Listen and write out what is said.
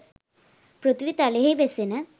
පාථීවි තලයෙහි වෙසෙන